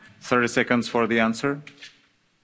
Rispondo anche in meno di trenta secondi.